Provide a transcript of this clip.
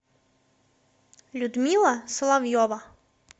людмила соловьева